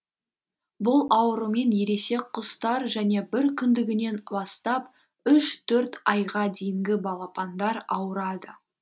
бұл аурумен ересек құстар және бір күндігінен бастап үш төрт айға дейінгі балапандар ауырады